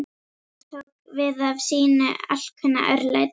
Gatan tók við af sínu alkunna örlæti.